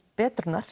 betrunar